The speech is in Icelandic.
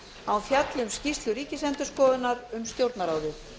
að hún fjalli um skýrslu ríkisendurskoðunar um stjórnarráðið